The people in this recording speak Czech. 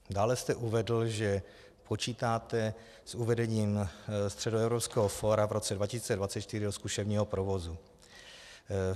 Dále jste uvedl, že počítáte s uvedením Středoevropského fóra v roce 2024 do zkušebního provozu.